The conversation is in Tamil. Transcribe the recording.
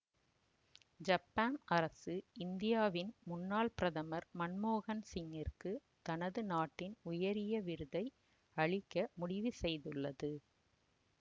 ஜப்பான் அரசு இந்தியாவின் முன்னால் பிரதமர் மன்மோகன் சிங்கிற்க்கு தனது நாட்டின் உயரிய விருதை அளிக்க முடிவு செய்துள்ளது